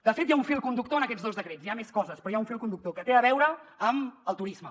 de fet hi ha un fil conductor en aquests dos decrets hi ha més coses però hi ha un fil conductor que té a veure amb el turisme